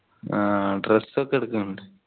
ആഹ് dress ഒക്കെ എടുക്കുനുണ്ട്